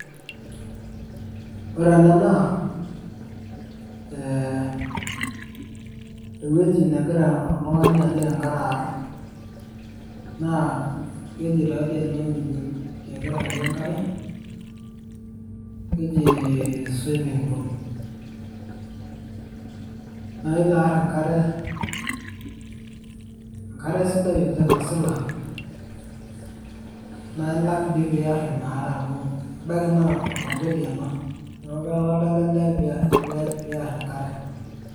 Ore ena naa, ewueji negira oltung'ani ajing' enkare aarr, naa keji taadoi enewueji negira aarie enkare, keji swimming pool. Naa ilo aarr enkare, enkare sidai oleng' nasila naa ilak doi piarr ina are amu ebaiki naa enkoteli ena neeku ketalaa ele lee pearr enkare.